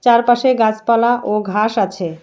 চারপাশে গাছপালা ও ঘাস আছে।